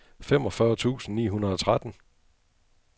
femogfyrre tusind ni hundrede og tretten